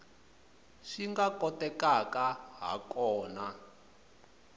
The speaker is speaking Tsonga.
swi nga kotekaka ha kona